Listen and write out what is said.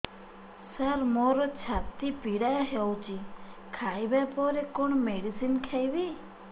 ସାର ମୋର ଛାତି ପୀଡା ହଉଚି ଖାଇବା ପରେ କଣ ମେଡିସିନ ଖାଇବି